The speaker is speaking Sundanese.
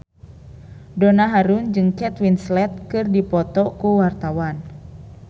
Donna Harun jeung Kate Winslet keur dipoto ku wartawan